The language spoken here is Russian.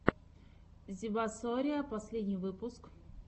зебасориа последний выпуск